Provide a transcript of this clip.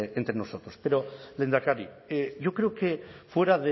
entre nosotros pero lehendakari yo creo que fuera